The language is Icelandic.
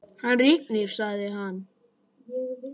Hann rignir, sagði hann.